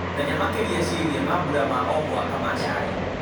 menya makĩria ciĩgiĩ mambura ma o mwaka ma cai